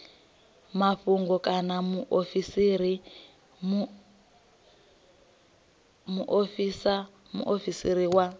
mafhungo kana mufarisa muofisiri wa